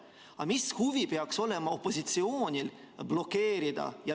Aga mis huvi peaks olema opositsioonil midagi blokeerida?